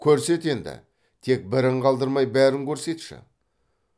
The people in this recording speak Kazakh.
көрсет енді тек бірін қалдырмай бәрін көрсетші